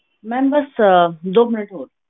Ma'am ਬਸ ਅਹ ਦੋ ਮਿੰਟ ਹੋਰ।